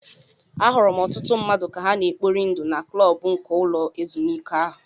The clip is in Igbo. Ahụrụ m ọtụtụ mmadụ ka ha na-ekpori ndụ na klọb nke ụlọ ezụmike ahụ.